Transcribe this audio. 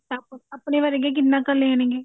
ਤਾਂ ਆਪਣੇ ਵਰਗੇ ਕਿੰਨਾ ਕੁ ਲੈਣਗੇ